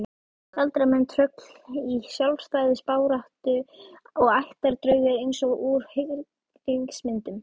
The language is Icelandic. Galdramenn, tröll í sjálfstæðisbaráttu og ættardraugar eins og úr hryllingsmyndum.